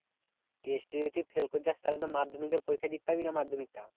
Test এ যদি fail করে যাস তাহলে তো মাধমিকে পরীক্ষা দিতে পারবি না মাধমিকটা।